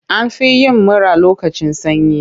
An fi yin mura lokacin sanyi.